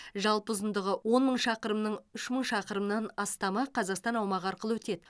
жалпы ұзындығы он мың шақырымның үш мың шақырымнан астамы қазақстан аумағы арқылы өтеді